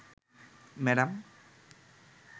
madam